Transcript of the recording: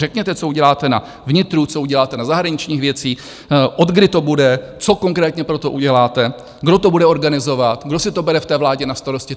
Řekněte, co uděláte na vnitru, co uděláte na zahraničních věcích, od kdy to bude, co konkrétně pro to uděláte, kdo to bude organizovat, kdo si to bere v té vládě na starost.